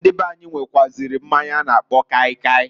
Ndị beanyi, nwekwuaziri mmanya a na-akpọ kaị kaị.